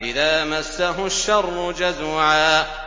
إِذَا مَسَّهُ الشَّرُّ جَزُوعًا